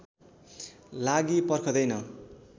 लागि पर्खँदैन